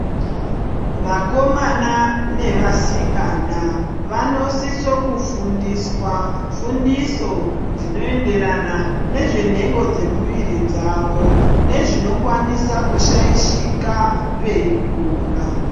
Vakomana nevasikani vanosisa kufundiswa fundiso dzinoenderana nezvemhengo dzemuviri mavo nezvinokwanisa kushaishika veikura.